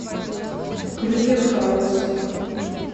крюгер хаус